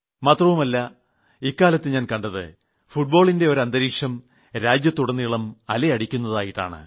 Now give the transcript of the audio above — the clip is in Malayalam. മാത്രമല്ല ഇക്കാലത്ത് ഞാൻ കണ്ടത് ഫുട്ബോളിന്റെ ഒരു അന്തരീക്ഷം രാജ്യത്തുടനീളം അലയടിക്കുന്നതായിട്ടാണ്